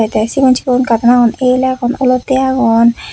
tey sigon sigon karton agon el agon olottey agon.